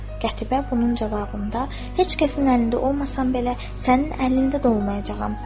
Qətibə bunun cavabında heç kəsin əlində olmasam belə, sənin əlində də olmayacağam.